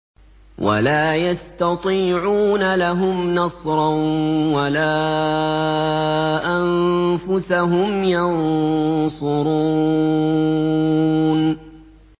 وَلَا يَسْتَطِيعُونَ لَهُمْ نَصْرًا وَلَا أَنفُسَهُمْ يَنصُرُونَ